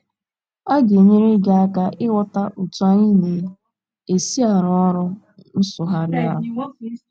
a ga - enyere gị aka ịghọta otú anyị na - esi arụ ọrụ nsụgharị ahụ.